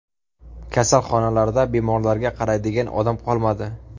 Kasalxonalarda bemorlarga qaraydigan odam qolmadi.